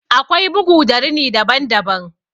Akwai bugu da rini daban daban.